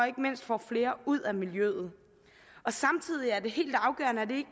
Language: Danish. ikke mindst får flere ud af miljøet samtidig er det helt afgørende at det